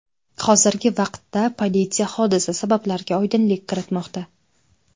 Hozirgi vaqtda politsiya hodisa sabablariga oydinlik kiritmoqda.